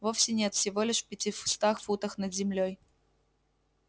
вовсе нет всего лишь в пятистах футах над землёй